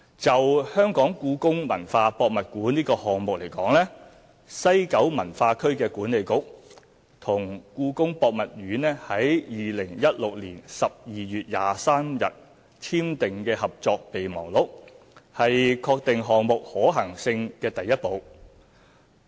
就故宮館項目而言，西九文化區管理局與故宮博物院於2016年12月23日簽訂《合作備忘錄》是確定項目可行性的第一步。